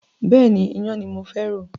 Bẹ́ẹ̀ni, iyán ni mo fẹ́ rò.